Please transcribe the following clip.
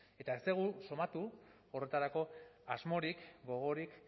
eta ez dugu somatu horretarako asmorik gogorik